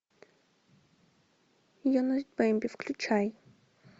юность бемби включай